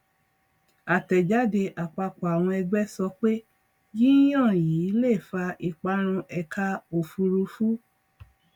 àtẹjáde àpapọ àwọn ẹgbẹ sọ pé yíyan yìí lè fa ìparun ẹka òfùrúfú